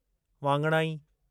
वाङणाई